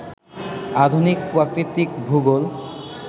আধুনিক প্রাকৃতিক ভূগোল